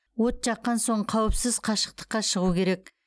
от жаққан соң қауіпсіз қашықтыққа шығу керек